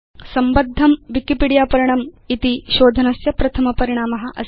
संबद्धं Wikipedia पर्णम् इति शोधनस्य प्रथम परिणाम अस्ति